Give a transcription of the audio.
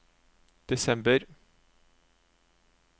desember